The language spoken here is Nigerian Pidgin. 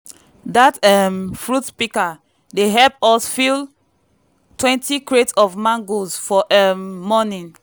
dat um fruit picker dey hep us fill twenty crates of mangoes for um morning.